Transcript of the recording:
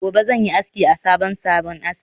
Gobe ​​zanyi aski a sabon salon aski